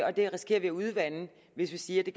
og det risikerer vi at udvande hvis vi siger at det